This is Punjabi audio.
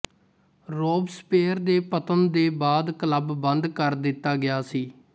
ਰੋਬਸਪੇਅਰ ਦੇ ਪਤਨ ਦੇ ਬਾਅਦ ਕਲੱਬ ਬੰਦ ਕਰ ਦਿੱਤਾ ਗਿਆ ਸੀ